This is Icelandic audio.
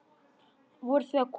Voruð þið að koma?